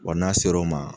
Wa n'a ser'o ma